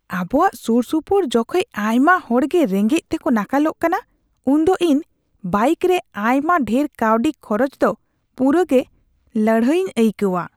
ᱟᱵᱚᱣᱟᱜ ᱥᱩᱨᱥᱩᱯᱩᱨ ᱡᱚᱠᱷᱮᱡ ᱟᱭᱢᱟ ᱦᱚᱲ ᱜᱮ ᱨᱮᱸᱜᱮᱡ ᱛᱮᱠᱚ ᱱᱟᱠᱟᱞᱚᱜ ᱠᱟᱱᱟ ᱩᱱᱫᱚ ᱤᱧ ᱵᱟᱭᱤᱠ ᱨᱮ ᱟᱭᱢᱟ ᱰᱷᱮᱨ ᱠᱟᱹᱣᱰᱤ ᱠᱷᱚᱨᱚᱪ ᱫᱚ ᱯᱩᱨᱟᱹᱜᱮ ᱞᱟᱹᱲᱦᱟᱹᱭᱤᱧ ᱟᱹᱭᱠᱟᱹᱣᱟ ᱾